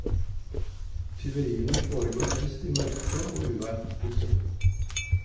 Tyveriene foregår helst i mørke og uvær. punktum